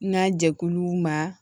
N ka jɛkuluw ma